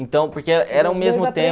Então, porque era era o mesmo